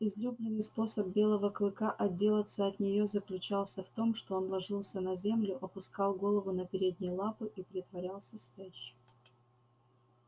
излюбленный способ белого клыка отделаться от нее заключался в том что он ложился на землю опускал голову на передние лапы и притворялся спящим